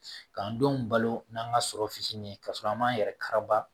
K'an denw balo n'an ka sɔrɔ fitinin ye ka sɔrɔ an m'an yɛrɛ kara